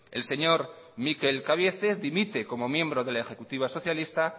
el señor mikel cabieces dimite como miembro de la ejecutiva socialista